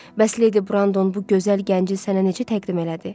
Bəs Lady Brandon bu gözəl gənci sənə necə təqdim elədi?